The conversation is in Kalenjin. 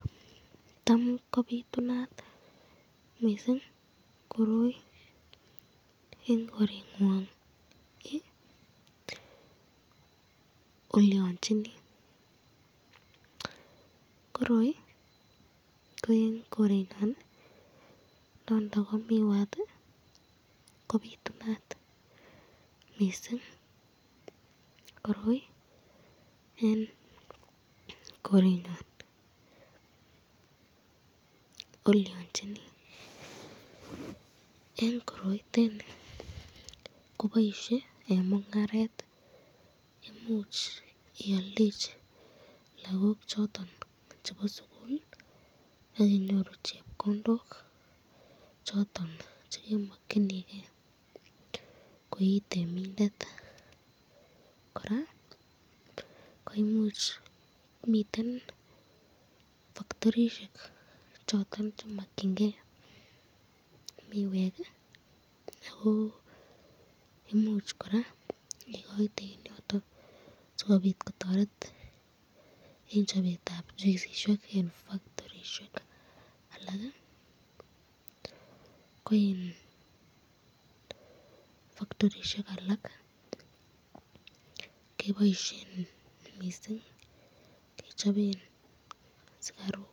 Tam kobitunat mising koroi eng koreñgingi, koroi eng kerenyun kobitunat ,boisyetab eng mungaret